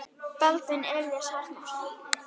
Baldvin Elís Arason.